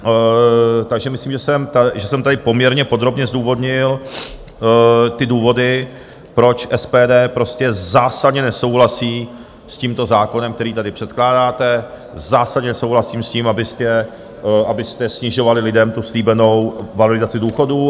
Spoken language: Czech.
Takže myslím, že jsem tady poměrně podrobně zdůvodnil ty důvody, proč SPD prostě zásadně nesouhlasí s tímto zákonem, který tady předkládáte, zásadně nesouhlasí s tím, abyste snižovali lidem tu slíbenou valorizaci důchodů.